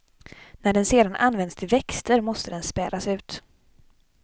När den sedan används till växter måste den spädas ut.